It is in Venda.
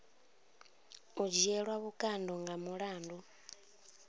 u dzhielwa vhukando nga mulandu